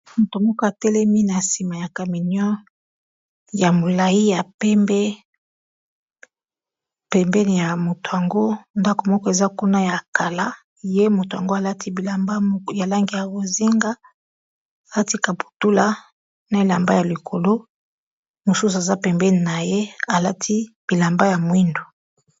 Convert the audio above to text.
moto moko atelemi na nsima ya camion ya molai ya pembe pembeni ya moto yango ndako moko eza kuna ya kala ye moto yango alati bilamba ya langi ya bozinga alati kaputula na elamba ya likolo mosusu aza pembeni na ye alati bilamba ya mwindo